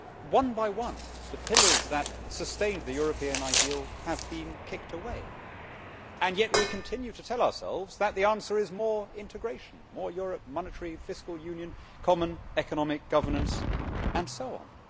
One by one, the pillars that sustained the European ideal have been kicked away and yet we continue to tell ourselves that the answer is more integration, more Europe, monetary and fiscal union, common economic governance, and so on.